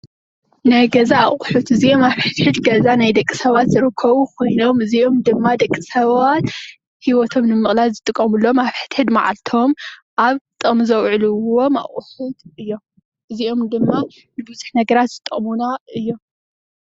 ናይ ገዛ ኣቁሕት፡- እዚኦም ኣብ ሕድሕድ ገዛ ደቂ ሰባት ዝርከቡ ኮይኖም እዚኦም ድማ ደቂ ሰባት ሂወቶም ንምቅላል ዝጥቀምሎም ኣብ ሕድሕድ ማዓልቶም ኣብ ጥቅሚ ዘውዕልዎም ኣቁሕት እዩም፡፡ እዚኦም ድማ ንቡዝሕ ነገራት ዝጠቅሙና እዮም፡፡